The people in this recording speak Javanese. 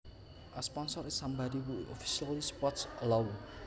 A sponsors is somebody who officially supports a law